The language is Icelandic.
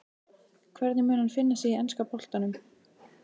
Hvernig mun hann finna sig í enska boltanum?